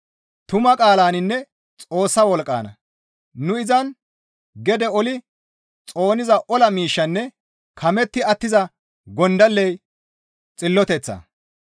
tuma qaalaninne Xoossa wolqqanna; nu Izan gede oli xooniza ola miishshinne kametti attiza gondalley xilloteththa.